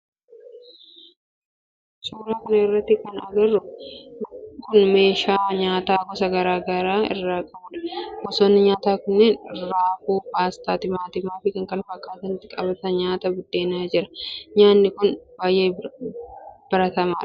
Suuraa kana irratti kana agarru n meeshaa nyaata gosa garaa garaa of irraa qabudha. Gosoonni nyaata kanneenii raafuu, paastaa, timaatima fi kan ittiin qabatanii nyaatan buddeen jira. Nyaanni kun baayyee baratamaadha.